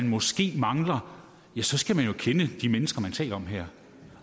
måske mangler så skal man jo kende de mennesker vi taler om her